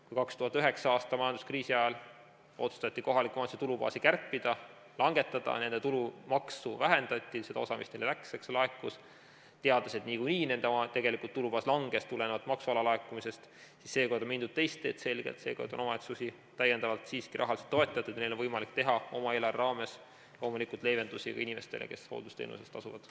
Kui 2009. aastal majanduskriisi ajal otsustati kohaliku omavalitsuse tulubaasi kärpida, vähendati seda osa, mis neile tulumaksust laekus, teades, et niikuinii nende tulubaas tulenevalt maksu alalaekumisest langes, siis seekord on mindud selgelt teist teed, seekord on omavalitsusi täiendavalt siiski rahaliselt toetatud ja neil on võimalik teha, oma eelarve raames loomulikult, leevendusi ka inimestele, kes hooldusteenuse eest tasuvad.